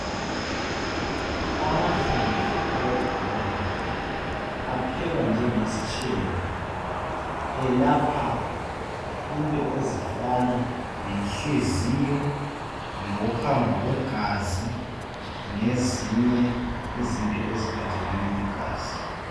Amahlamvu awebhobola aphekwa njengesitshebo. Elapha into ezifana lenhliziyo ,lokuhamba kwegazi .Lezinye izinto eziphathelane legazi.